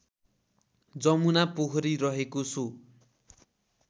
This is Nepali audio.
जमुना पोखरीरहेको सो